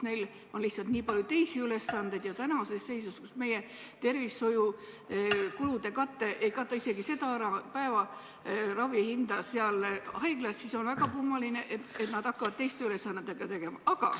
Neil on lihtsalt nii palju teisi ülesandeid ja tänases seisus, kus meie tervishoiukulude kate ei kata isegi ära päevaravi hinda haiglas, oleks väga kummaline, kui nad hakkaks veel mingite ülesannetega tegelema.